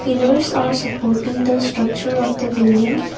pillers are supporting the structure of the building.